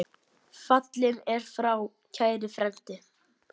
Fallinn er frá kær frændi.